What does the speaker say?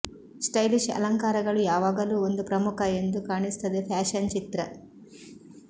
stylish ಅಲಂಕಾರಗಳು ಯಾವಾಗಲೂ ಒಂದು ಪ್ರಮುಖ ಎಂದು ಕಾಣಿಸುತ್ತದೆ ಫ್ಯಾಷನ್ ಚಿತ್ರ